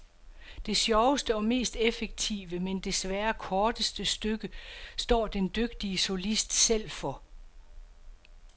Det sjoveste og mest effektive men desværre korteste stykke står den dygtige solist selv for.